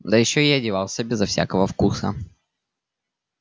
да ещё и одевался безо всякого вкуса